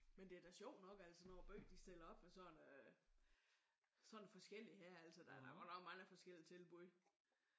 Men det er da sjovt nok altså når byen de stiller op med sådan sådan noget forskelligt her. Der er godt nok mange forskellige tilbud